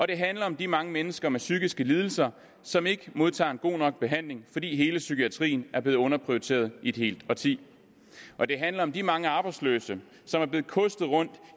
det handler om de mange mennesker med psykiske lidelser som ikke modtager en god nok behandling fordi hele psykiatrien er blevet underprioriteret i et helt årti og det handler om de mange arbejdsløse som er blevet kostet rundt